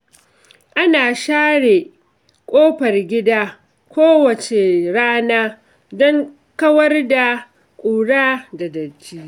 Ana share ƙofar gida kowace rana don kawar da ƙura da datti.